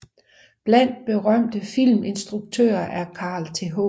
Blandt berømte filminstruktører er Carl Th